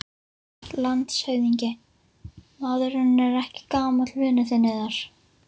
LANDSHÖFÐINGI: Maðurinn er ekki gamall vinur yðar?